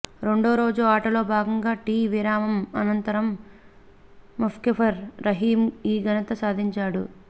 రెండో రోజు ఆటలో భాగంగా టీ విరామం అనంతరం ముష్ఫికర్ రహీం ఈ ఘనత సాధించాడు